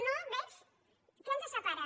no veig què ens separa